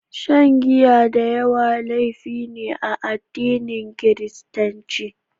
Shan giya da yawa laifi ne a addinin Kiristanci.